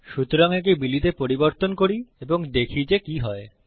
সুতরাং একে বিলি তে পরিবর্তন করি এবং দেখি যে কি হয়